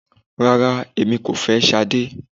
Rárá, èmi kò fẹ́ Sade.